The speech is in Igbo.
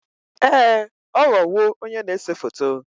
Ee ọ ghọwo onye na-ese foto